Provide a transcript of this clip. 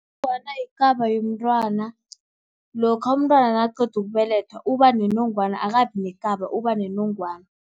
Inongwana yikaba yomntwana, lokha umntwana nakaqeda ukubelethwa, uba nenongwana akabi nekaba, uba nenongwana.